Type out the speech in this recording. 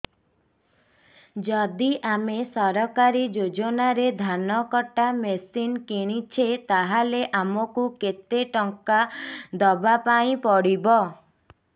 ଯଦି ଆମେ ସରକାରୀ ଯୋଜନାରେ ଧାନ କଟା ମେସିନ୍ କିଣୁଛେ ତାହାଲେ ଆମକୁ କେତେ ଟଙ୍କା ଦବାପାଇଁ ପଡିବ